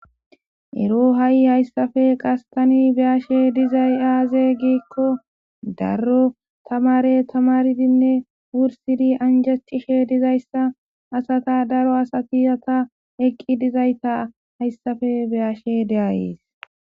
Ero hay hayisappe qase tani beashe dizay aze gikko daro tamare tamaridinne wurisidi anjetishe dizayisa asata daro asati asa eqi dizayita heyisappe beashe deayis.